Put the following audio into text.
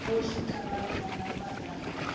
kgoši thabang a napa a